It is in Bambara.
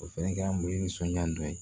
O fɛnɛ kɛra mɔgɔw nisɔndiya dɔ ye